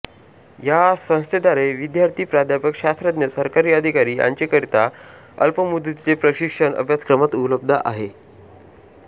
या संस्थेद्वारे विद्यार्थी प्राध्यापक शास्त्रज्ञ सरकारी अधिकारी यांचेकरिता अल्पमुदतीचे प्रशिक्षण अभ्यासक्रम उपलब्ध आहेत